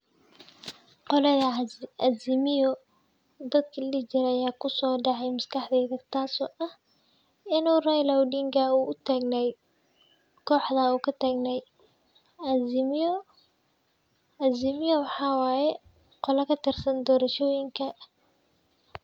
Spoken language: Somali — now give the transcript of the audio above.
Qolada azimio ladahye aya kusocade maskaxdeyda taso ah inu Raila Odinga uu utagna oo uu katagna azimio oo waxa waye qola kaisan doashoyinka.